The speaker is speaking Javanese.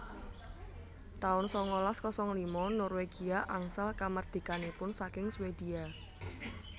taun sangalas kosong lima Norwegia angsal kamardikanipun saking Swedia